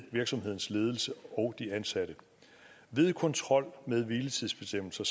virksomhedens ledelse og de ansatte ved kontrol med hviletidsbestemmelser